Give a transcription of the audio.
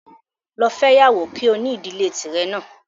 Lọ fẹ́yàwó kí o ní ìdílé tì ẹ náà